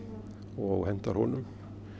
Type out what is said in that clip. og hentar honum